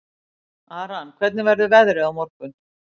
Aran, hvernig verður veðrið á morgun?